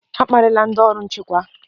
Akparịla ndị ọrụ nchekwa!